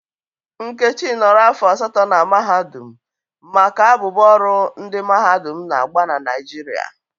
Nkechi nọrọ afọ asatọ na mahadum maka abụbọ ọrụ ndị mahadum na-agba na Naịjirịa.